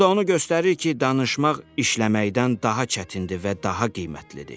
Bu da onu göstərir ki, danışmaq işləməkdən daha çətindir və daha qiymətlidir.